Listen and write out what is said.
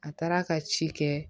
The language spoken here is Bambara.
A taara ka ci kɛ